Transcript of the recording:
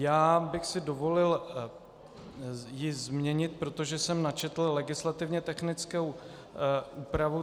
Já bych si dovolil ji změnit, protože jsem načetl legislativně technickou úpravu.